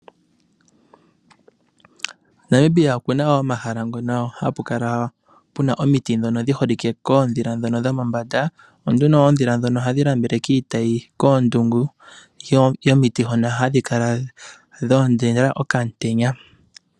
Namibia okuna omahala ngono hapu kala puna omiti dhono dhiholike koondhila ndhono dhomo mbanda, onduno oondhila dhono ohadhi nambele kiitayi koondundu dhomiti hono hadhi kala dhoondela okamutenya.